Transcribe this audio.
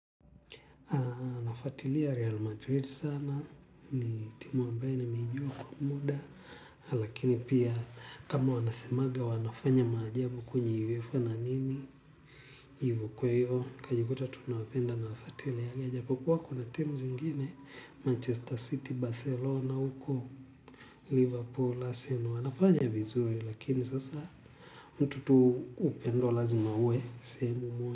Aa nafuatilia Real Madrid sana, ni timu ambayo nimeijua kwa muda. Lakini pia kama wanasemaga wanafanya maajabu kwenye uefa na ligi kwa hivyo nikajikuta tu napenda nafuatili yajapokuwa kuna timu zingine Manchester City, Barcelona, uko, Liverpool, Arsenal, wanafanya vizuri. Lakini sasa mtu tu upendo lazima uwe, sehemu uwe.